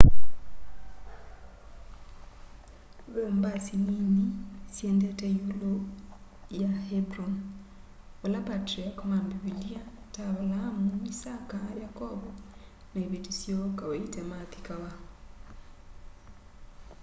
ve o mbasi nini siendete iulu ya hebron vala patriarch ma mbivilia ta avalaamu isaka yakovo na iveti syoo kawaita mathikawa